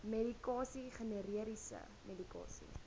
medikasie generiese medikasie